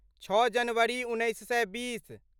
छओ जनवरी उन्नैस सए बीस